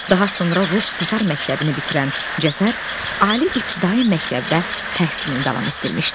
Daha sonra rus-tatar məktəbini bitirən Cəfər Ali İbtidai məktəbdə təhsilini davam etdirmişdi.